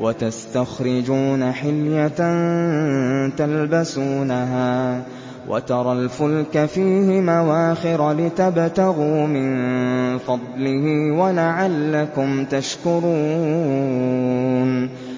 وَتَسْتَخْرِجُونَ حِلْيَةً تَلْبَسُونَهَا ۖ وَتَرَى الْفُلْكَ فِيهِ مَوَاخِرَ لِتَبْتَغُوا مِن فَضْلِهِ وَلَعَلَّكُمْ تَشْكُرُونَ